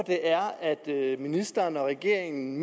ministeren og regeringen